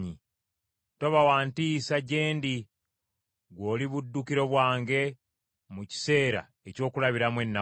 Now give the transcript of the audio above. Toba wa ntiisa gye ndi, ggwe oli buddukiro bwange mu kiseera eky’okulabiramu ennaku.